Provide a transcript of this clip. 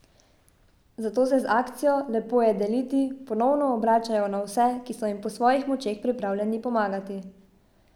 Zato se z akcijo Lepo je deliti ponovno obračajo na vse, ki so jim po svojih močeh pripravljeni pomagati.